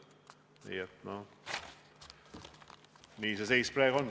Nii et selline see seis praegu on.